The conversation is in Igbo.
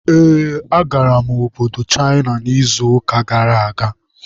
Ee, agara m obodo Chịna n'izuụka gara aga.